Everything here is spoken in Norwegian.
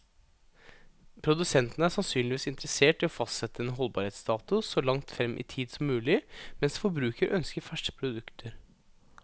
Produsenten er sannsynligvis interessert i å fastsette en holdbarhetsdato så langt frem i tid som mulig, mens forbruker ønsker ferske produkter.